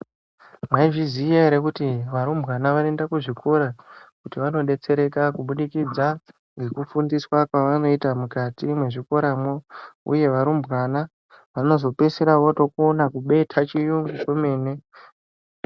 Mwaizviya ere kuti varumbwana ,vanoenda kuzvikora kuti vanodetsereka kubudikidza ngekufundiswa kwavanoitwa mukati mwezvikoramo uye varumbwana vanozopeisira votokona kubeta chiyungu kwemene .